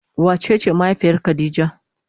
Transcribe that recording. Wa cece mahaifiyar khadijah?